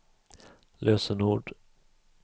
lösenord